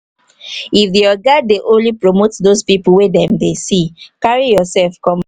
if um di oga um dey only promote those pipo wey dem dey see carry um yourself come out